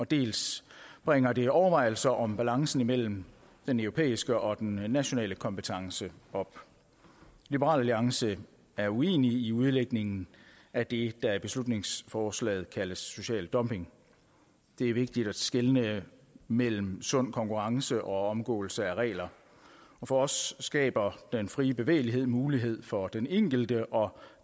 dels bringer det overvejelser om balancen mellem den europæiske og den nationale kompetence op liberal alliance er uenig i udlægningen af det der i beslutningsforslaget kaldes social dumping det er vigtigt at skelne mellem sund konkurrence og omgåelse af regler og for os skaber den frie bevægelighed muligheder for den enkelte og